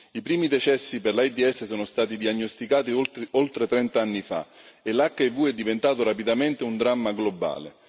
I primi decessi per l'AIDS sono stati diagnosticati oltre trent'anni fa e l'HIV è diventato rapidamente un dramma globale.